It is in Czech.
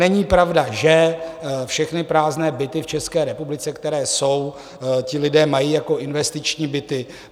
Není pravda, že všechny prázdné byty v České republice, které jsou, ti lidé mají jako investiční byty.